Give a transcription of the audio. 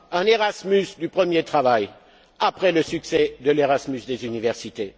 pas? un Erasmus du premier travail après le succès de l'Erasmus des universités.